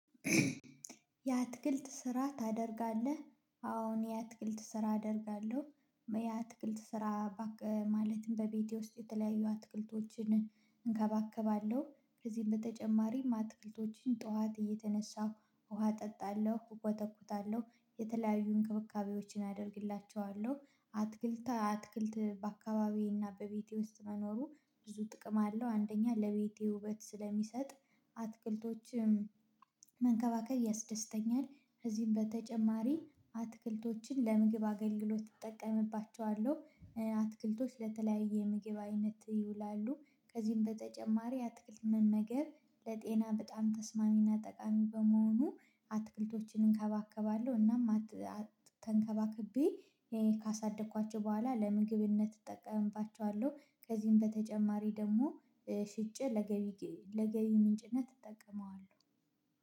የአትክልት ስራ ታደርጋለህ? አዎ የአትክልት ስራ አደርጋለሁ። የአትክልት ስራ ባክህ፣ ማለትም በቤቴ ውስጥ የተለያዩ አትክልቶችን እንከባከባለሁ፤ ከዚህም በተጨማሪም አትክልቶችን ጠዋት እየተነሳሁ ውሃ አጠጣለሁ፣ እኮተኩታለሁ፣ የተለያዩ እንክብካቤዎችን አደርግላቸዋለሁ። አትክልት፣ አትክልት በአካባቢዬና በቤቴ ውስጥ መኖሩ ብዙ ጥቅም አለው፤ አንደኛ ለቤቴ ውበት ስለሚሰጥ፣ አትክልቶችም መንከባከብ ያስደስተኛል፤ ከዚህም በተጨማሪ አትክልቶችን ለምግብ አገልግሎት እጠቀምባቸዋለሁ፤ አትክልቶች ለተለያየ ምግብ አይነት ይውላሉ። ከዚህም በተጨማሪ አትክልት መመገብ ለጤና በጣም ተስማሚና ጠቃሚ በመሆኑ አትክልቶችን እንከባከባለሁ፣ እናም ተንከባክቤ ካሳደግኳቸው በኋላ ለምግብነት እጠቀምባቸዋለሁ፤ ከዚህም በተጨማሪ ደግሞ ሽጬ ለገቢ፣ ለገቢ ምንጭነት እጠቀመዋለሁ።